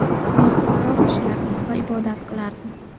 Men ko‘proq ishlardim va ibodat qilardim.